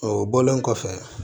O bɔlen kɔfɛ